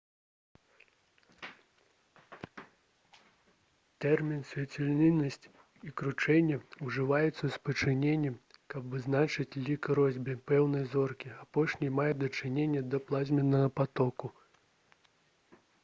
тэрміны «свяцільнасць» і «кручэнне» ужываюцца ў спалучэнні каб вызначыць лік росбі пэўнай зоркі. апошні мае дачыненне да плазменнага патоку